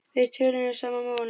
Við töluðum sama málið.